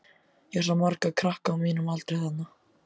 Ég sá marga krakka á mínum aldri þarna.